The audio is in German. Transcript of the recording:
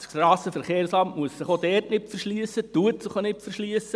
Das SVSA muss sich auch dort nicht verschliessen und verschliesst sich auch nicht.